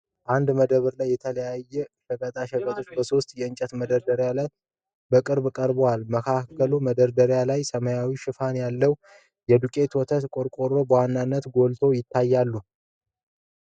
አንድ መደብ ላይ የተለያዩ ሸቀጣ ሸቀጦች በሶስት የእንጨት መደርደሪያዎች ላይ በቅርበት ቀርበዋል። መሃከለኛ መደርደሪያ ላይ ሰማያዊ ሽፋን ያላቸው የዱቄት ወተት ቆርቆሮዎች በዋናነት ጎልተው ይታያሉ።